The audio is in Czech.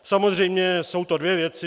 Samozřejmě jsou to dvě věci.